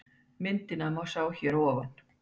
Myndina má sjá hér að ofan